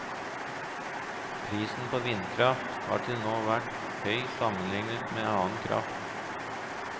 Prisen på vindkraft har til nå vært høy sammenlignet med annen kraft.